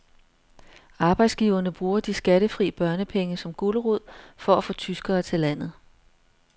Arbejdsgiverne bruger de skattefri børnepenge som gulerod for at få tyskere til landet.